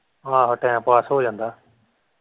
ਆਹੋ time pass ਹੋ ਜਾਂਦਾ।